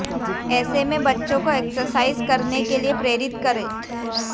ऐसे में बच्चों को एक्सरसाइज़ करने के लिए प्रेरित करें